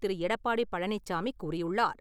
திரு. எடப்பாடி பழனிசாமி கூறியுள்ளார்.